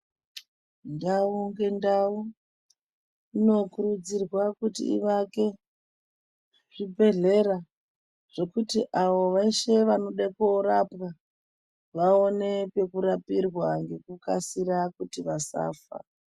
Ndau ngendau inokurudzirwa kuti ivake zvibhedhlera zvekuti avo veshe vanenge vanode koorapwa varapwe ngekukasira kuti vasafa